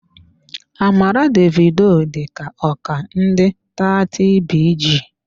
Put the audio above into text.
Amara Davido dịka oga ndị 30BG.